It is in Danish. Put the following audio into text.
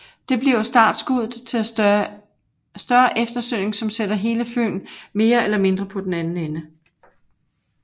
Det bliver start skuddet til at større eftersøgning som sætter hele Fyn mere eller mindre på den anden ende